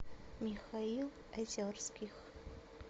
михаил озерских